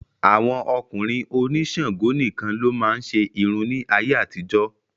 Àwọn ọkùnrin òní Ṣàngó nìkan ló máa ń ṣe irun ní ayé àtijó.